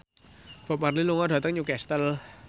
Bob Marley lunga dhateng Newcastle